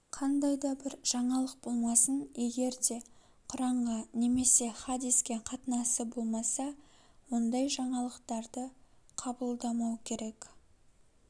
қандай бір жаңалық болмасын егер де құранға немесе хадиске қатынасы болмаса ондай жаңалықтарды қабылдамау керек